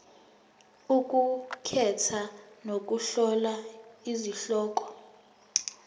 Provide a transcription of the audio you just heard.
ukukhetha nokuhlola izihloko